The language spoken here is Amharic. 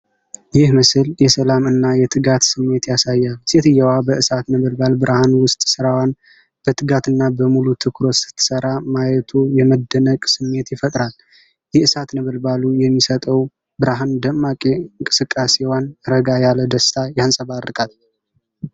ይህ ምስል የሰላም እና የትጋት ስሜት ያሳያል። ሴትየዋ በእሳት ነበልባል ብርሃን ውስጥ ሥራዋን በትጋትና በሙሉ ትኩረት ስትሠራ ማየቱ የመደነቅ ስሜት ይፈጥራል። የእሳት ነበልባሉ የሚሰጠው ብርሃን ደግሞ የእንቅስቃሴዋን ረጋ ያለ ደስታ ያንጸባርቃል።